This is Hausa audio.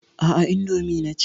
Aa, indomi naci